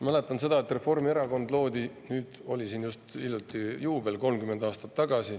Ma mäletan seda, kui Reformierakond loodi 30 aastat tagasi, hiljuti oli just juubel.